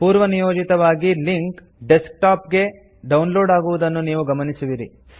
ಪೂರ್ವನಿಯೋಜಿತವಾಗಿ link desktop ಗೆ download ಆಗುವುದನ್ನು ನೀವು ಗಮನಿಸುವಿರಿ